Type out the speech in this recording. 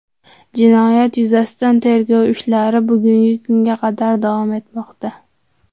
Jinoyat yuzasidan tergov ishlari bugungi kunga qadar davom etmoqda.